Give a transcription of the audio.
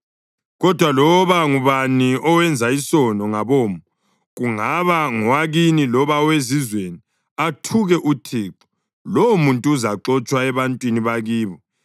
Kodwa loba ngubani owenza isono ngabomo, kungaba ngowakini loba owezizweni, athuke uThixo, lowomuntu uzaxotshwa ebantwini bakibo.